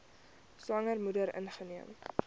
swanger moeder ingeneem